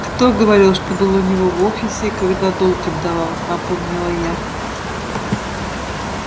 кто говорил что был у него в офисе когда долг отдавал напомнила я